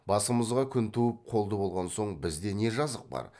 басымызға күн туып қолды болған соң бізде не жазық бар